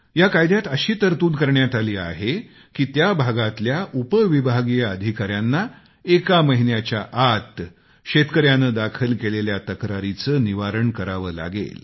या कायद्यात अशी तरतूद करण्यात आली आहे की त्या भागातल्या उप विभागीय अधिकाऱ्यांना एका महिन्याचा आत शेतकऱ्याने दाखल केलेल्या तक्रारीचं निवारण करावं लागेल